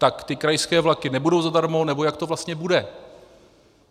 Tak ty krajské vlaky nebudou zadarmo, nebo jak to vlastně bude?